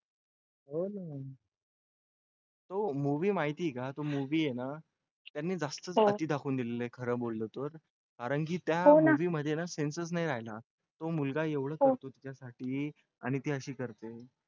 हो तो movie माहित आहे का तो movie आहे ना त्यांनी जास्तच अति दाखवून दिला आहे खरं बोललं तर कारण की त्या movie मध्ये ना sense नाही राहिला तो मुलगा एवढं करतो तिच्यासाठी आणि ते अशी करते